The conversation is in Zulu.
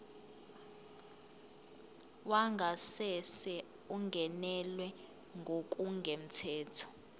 wangasese ungenelwe ngokungemthetho